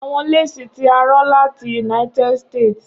Awọn lesi ti a rán lati United States